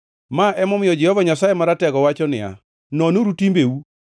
Ma emomiyo Jehova Nyasaye Maratego wacho niya, “Nonuru timbeu.